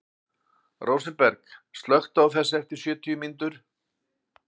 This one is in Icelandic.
Rósinberg, slökktu á þessu eftir sjötíu mínútur.